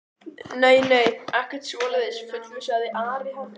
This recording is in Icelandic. Nei, nei, ekkert svoleiðis fullvissaði Ari hann um.